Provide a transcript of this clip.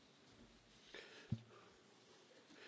Herr Präsident, werte Kolleginnen und Kollegen!